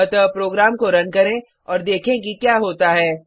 अतः प्रोग्राम को रन करें और देखें कि क्या होता है